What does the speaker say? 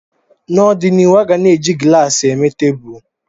N'ọdịnihu, a ga na-eji glaasị eme tebụl